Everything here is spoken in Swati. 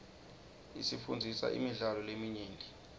isifundzisa imidlalo leminyenti